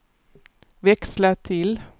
växla till